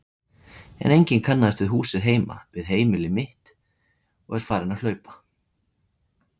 En enginn kannaðist við húsið heima, við heimili mitt, og er farin að hlaupa.